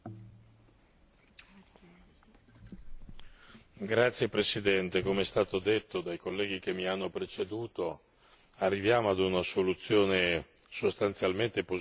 Signora Presidente, come hanno detto i colleghi che mi hanno preceduto, giungiamo ad una soluzione sostanzialmente positiva, dopo un percorso non certo facile.